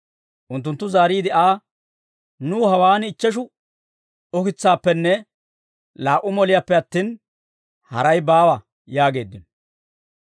Unttunttu zaariide Aa, «Nuw hawaan ichcheshu ukitsaappenne laa"u moliyaappe attin, haray baawa» yaageeddino.